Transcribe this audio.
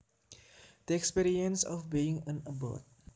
The experience of being an abbot